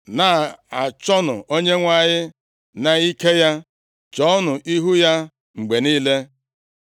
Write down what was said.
Na-achọnụ Onyenwe anyị na ike ya, chọọnụ ihu ya mgbe niile.